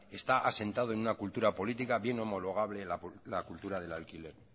está asentada en una cultura política bien homologable la cultura del alquiler